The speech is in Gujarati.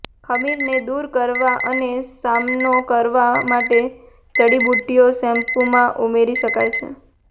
ખમીરને દૂર કરવા અને સામનો કરવા માટે જડીબુટ્ટીઓ શેમ્પૂમાં ઉમેરી શકાય છે